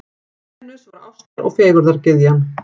Venus var ástar- og fegurðargyðjan.